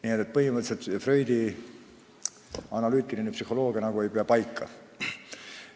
Nii et põhimõtteliselt Freudi analüütiline psühholoogia nagu ei pea paika.